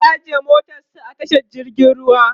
zai ajiye motarsa a tashar jirgin ruwa